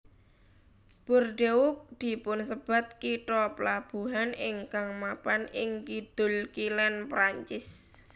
Bordeaux dipunsebat kitha plabuhan ingkang mapan ing kidul kilèn Prancis